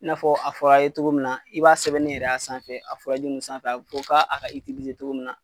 I n'a fɔ a fɔr'a' ye togo min na i b'a sɛbɛnni yɛrɛ y'a sanfɛ a fɔraji nun sanfɛ a ko k'a a ka togo min na